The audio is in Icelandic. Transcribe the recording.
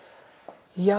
ja